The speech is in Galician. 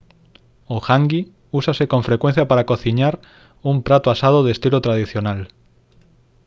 o «hangi» úsase con frecuencia para cociñar un prato asado de estilo tradicional